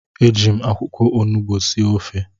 Eji m akwụkwọ onugbu sie ofe